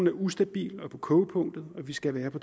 er ustabil og på kogepunktet og vi skal være på